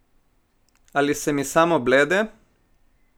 Ali se mi samo blede?